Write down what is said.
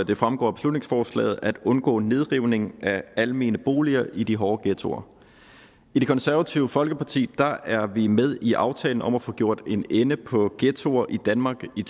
det fremgår af beslutningsforslaget at undgå nedrivning af almene boliger i de hårde ghettoer i det konservative folkeparti er vi med i aftalen om at få gjort en ende på ghettoer i danmark i